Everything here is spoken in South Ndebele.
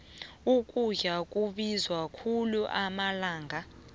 ukudla kubiza khulu amalanga